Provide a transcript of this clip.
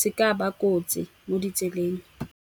se ka ba kotsi mo ditseleng.